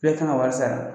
E kan ka wari sara